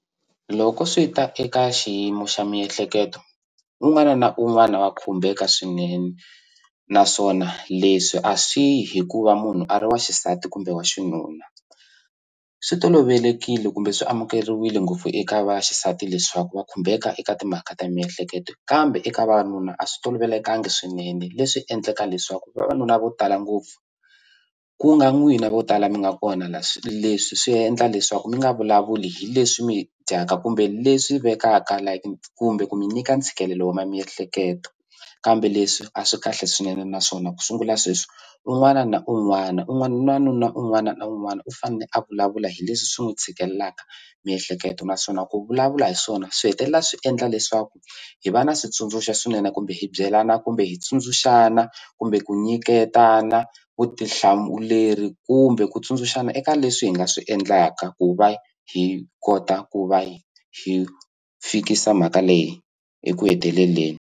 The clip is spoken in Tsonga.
Loko swi ta eka xiyimo xa miyehleketo un'wana na un'wana wa khumbeka swinene naswona leswi a swi yi hi ku va munhu a ri wa xisati kumbe wa xinuna swi tolovelekile kumbe swi amukeriwile ngopfu eka vaxisati leswaku va khumbeka eka timhaka ta miyehleketo kambe eka vavanuna a swi tolovelekangi swinene leswi endlaka leswaku vavanuna vo tala ngopfu ku nga n'wina vo tala mi nga kona la leswi swi endla leswaku mi nga vulavuli hi leswi mi dyaka kumbe leswi vekaka like kumbe ku mi nyika ntshikelelo wa miehleketo kambe leswi a swi kahle swinene naswona ku sungula sweswi un'wana na un'wana un'wani u na nuna un'wana na un'wana u fane a vulavula hi leswi swi n'wu tshikelelaka miehleketo naswona ku vulavula hi swona swi hetelela swi endla leswaku hi va na switsundzuxo swinene kumbe hi byelana kumbe hi tsundzuxana kumbe ku nyiketana vutihlamuleri kumbe ku tsundzuxana eka leswi hi nga swi endlaka ku va hi kota ku va hi fikisa mhaka leyi eku heteleleni.